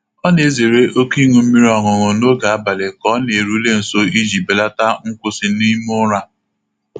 Ọ na-ezere oke ịṅụ mmiri ọṅụṅụ n'oge abalị ka ọ na-erule nso iji belata nkwusị n'ime ụra.